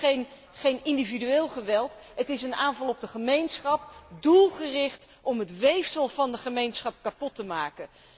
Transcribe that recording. Het is geen individueel geweld, het is een aanval op de gemeenschap, doelgericht om het weefsel van de gemeenschap kapot te maken.